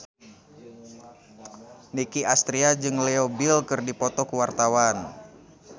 Nicky Astria jeung Leo Bill keur dipoto ku wartawan